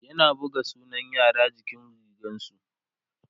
yana buga sunan yara jikin rigarsu